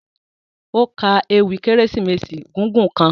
O ka èwi Keresimesi gigun kan.